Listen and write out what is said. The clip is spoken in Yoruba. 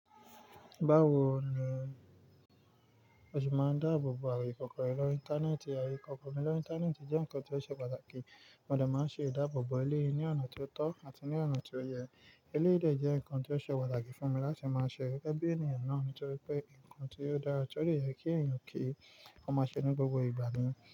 Báwo ni ó ṣe máa ń dáàbò bo àaye íkòkọ̀ rẹ lọ́ri íńtánẹ́ẹ̀tì? Àaye Ìkòkọ̀ mí lọ́ íńtánẹ́ẹ̀tì jẹ́ nǹkan tó ṣe pàtàkì. Mo dẹ̀ máa ń ṣe ìdáàbò bo eléyìí ní ọ̀nà ti ó tọ́ àti ní ọ̀nà tó yẹ. Eléyìí dẹ̀ jẹ́ nǹkan tó ṣe pàtàkì fún mi láti máa ṣe gégébí ènìyàn náà nítorí pé nǹkan tí ó dára tó dè yẹ kí èèyàn kì í, ó máa ṣe ní gbogbo ìgbà ni.